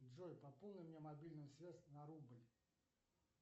джой пополни мне мобильную связь на рубль